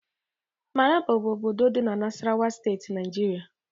Maraba bụ obodo dị na Nasarawa Steeti Nigeria